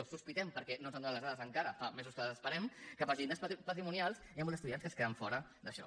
o ho sospitem perquè no ens n’han donat les dades encara fa mesos que les esperem que pels llindars patrimonials hi han molts estudiants que es queden fora d’això